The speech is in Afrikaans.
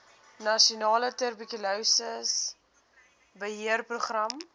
nasionale tuberkulose beheerprogram